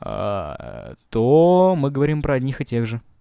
то мы говорим про одних и тех же